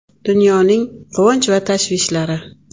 Dunyoning quvonch va tashvishlari.